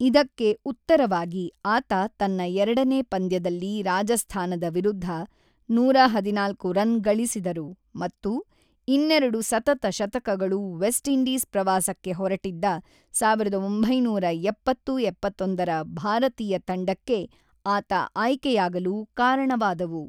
ಇದಕ್ಕೆ ಉತ್ತರವಾಗಿ ಆತ ತನ್ನ ಎರಡನೇ ಪಂದ್ಯದಲ್ಲಿ ರಾಜಸ್ಥಾನದ ವಿರುದ್ಧ ನೂರ ಹದಿನಾಲ್ಕು ರನ್ ಗಳಿಸಿದರು ಮತ್ತು ಇನ್ನೆರಡು ಸತತ ಶತಕಗಳು ವೆಸ್ಟ್ ಇಂಡೀಸ್ ಪ್ರವಾಸಕ್ಕೆ ಹೊರಟಿದ್ದ ಸಾವಿರದ ಒಂಬೈನೂರ ಎಪ್ಪತ್ತು -ಎಪ್ಪತ್ತೊಂದರ ಭಾರತೀಯ ತಂಡಕ್ಕೆ ಆತ ಆಯ್ಕೆಯಾಗಲು ಕಾರಣವಾದವು.